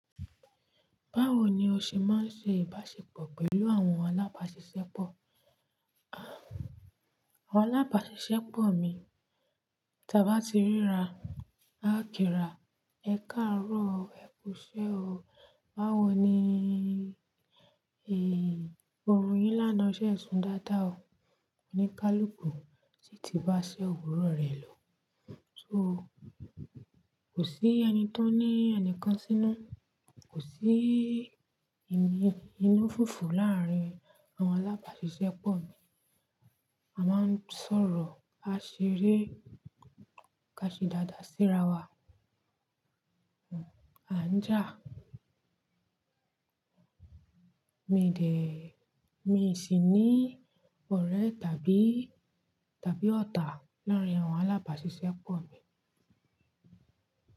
Báwo ni o ṣe máa ń ṣe ìbáṣepọ̀ pẹ̀lú àwọn alábàáṣiṣẹ́pọ̀? Àwọn alábàáṣiṣẹ́pọ̀ mi, tí a bá ti ríra, a kíra, "Ẹ káàárọ̀ o, ẹ kú iṣẹ́ o." Báwo ni, "Ehn, orun yín lánàá ṣe e sún dáadáa o." Òní kálùkù sì ti bá ṣe òwúrọ̀ rẹ̀ lọ. So kò sí ẹni tó ní ẹnìkan sínú, kò sí ìmi inú fùfù láárín àwọn alábàáṣiṣẹ́pọ̀ mi. A máa ń sọ̀rọ̀, a ṣeré, ká ṣe dáadáa sí ara wa, a ń jà. Mi dè, mi sì ní ọ̀rẹ́ tàbí, tàbí ọ̀tá láárín àwọn alábàáṣiṣẹ́pọ̀ mi.